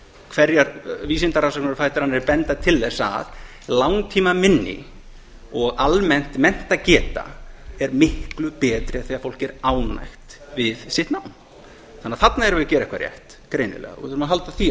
hverjar vísindarannsóknirnar á fætur annarri benda til þess að langtímaminni og almennt menntageta er miklu betri þegar fólk er ánægt við sitt nám þannig að þarna erum við að gera eitthvað rétt greinilega og við þurfum að halda því